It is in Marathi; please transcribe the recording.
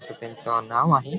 अस त्यांच नाव आहे.